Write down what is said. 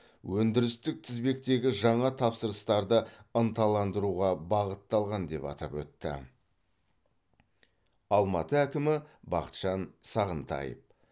өндірістік тізбектегі жаңа тапсырыстарды ынталандыруға бағытталған деп атап өтті алматы әкімі бақытжан сағынтаев